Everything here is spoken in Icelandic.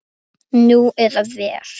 Nú eða verr.